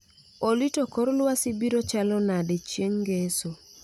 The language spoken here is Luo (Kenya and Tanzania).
Olly to kor lwasi biro chali nade chieng' ngeso